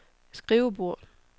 skrivebord